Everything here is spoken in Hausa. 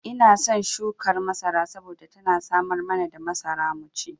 Ina son shukar masara saboda tana samar mana da masara mu ci.